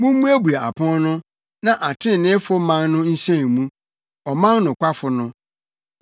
Mummuebue apon no na atreneefo man no nhyɛn mu, ɔman nokwafo no.